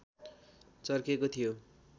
चर्केको थियो